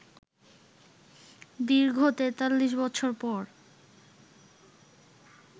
দীর্ঘ ৪৩ বছর পর